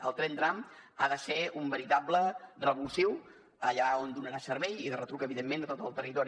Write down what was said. el tren tram ha de ser un veritable revulsiu allà on donarà servei i de retruc evidentment a tot el territori